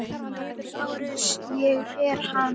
LÁRUS: Ég er hann.